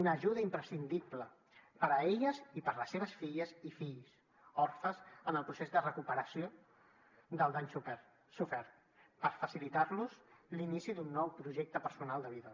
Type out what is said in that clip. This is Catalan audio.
una ajuda imprescindible per a elles i per a les seves filles i fills orfes en el procés de recuperació del dany sofert per facilitar los l’inici d’un nou projecte personal de vida